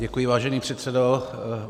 Děkuji, vážený předsedo.